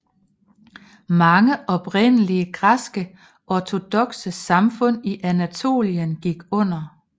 Mange oprindelige græske ortodokse samfund i Anatolien gik under